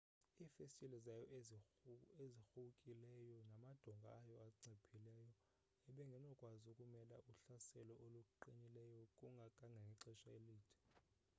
iifestile zayo ezirhuwkileyo namadonga ayo anciphileyo ebengenokwazi ukumela uhlaselo oluqinilileyo kangangexesha elide